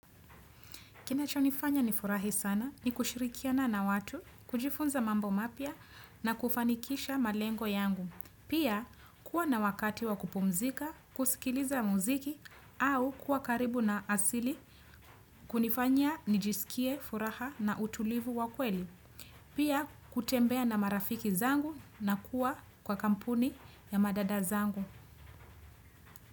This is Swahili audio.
Kinachonifanya nifurahi sana ni kushirikiana na watu, kujifunza mambo mapya na kufanikisha malengo yangu. Pia kuwa na wakati wa kupumzika, kusikiliza muziki au kuwa karibu na asili kunifanya nijisikie furaha na utulivu wa kweli. Pia kutembea na marafiki zangu na kuwa kwa kampuni ya madada zangu.